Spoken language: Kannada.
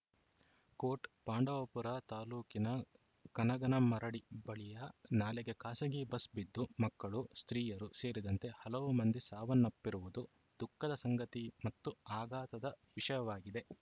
ಕೋಟ್‌ ಪಾಂಡವಪುರ ತಾಲೂಕಿನ ಕನಗನಮರಡಿ ಬಳಿಯ ನಾಲೆಗೆ ಖಾಸಗಿ ಬಸ್‌ ಬಿದ್ದು ಮಕ್ಕಳು ಸ್ತ್ರೀಯರು ಸೇರಿದಂತೆ ಹಲವು ಮಂದಿ ಸಾವನ್ನಪ್ಪಿರುವುದು ದುಃಖದ ಸಂಗತಿ ಮತ್ತು ಆಘಾತದ ವಿಷಯವಾಗಿದೆ